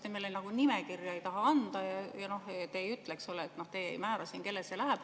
Te meile nimekirja anda ei taha ja te ei ütle, kellele see läheb.